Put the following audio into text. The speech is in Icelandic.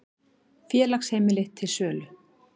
Félagsheimili til sölu